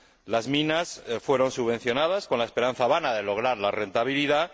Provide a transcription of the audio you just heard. Las minas fueron subvencionadas con la esperanza vana de lograr la rentabilidad.